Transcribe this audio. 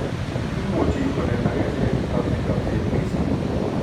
imuchi koletagei sirek chutok eng' chokchinet mising